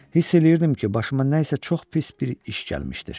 Hiss eləyirdim ki, başıma nəsə çox pis bir iş gəlmişdir.